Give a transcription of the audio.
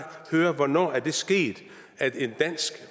høre hvornår er det sket at en dansk